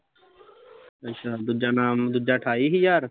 ਅੱਛਾ ਦੂਜਾ ਇਨਾਮ ਦੂਜਾ ਅਠਾਈ ਹਜ਼ਾਰ